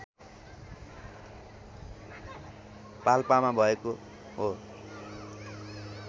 पाल्पामा भएको हो